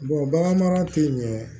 bagan mara tɛ yen ɲɛ